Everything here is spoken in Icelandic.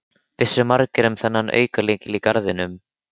Vissu margir um þennan aukalykil í garðinum?